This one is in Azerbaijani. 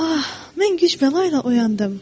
Ah, mən güc-bəla ilə oyandım.